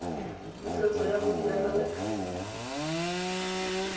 pusetso ya go duela lekgetho